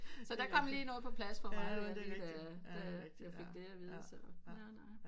Så kom der lige noget på plads for mig da vi fik det af vide nej nej